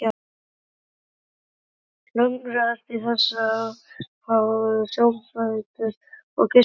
Klöngrast í þessu orðahröngli sárfættur og geispandi.